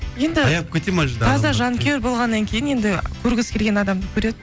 енді таза жанкүйер болғаннан кейін енді көргісі келген адамды көреді